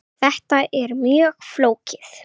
Þetta er mjög flókið.